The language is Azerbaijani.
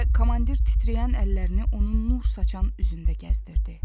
Və komandir titrəyən əllərini onun nur saçan üzündə gəzdirdi.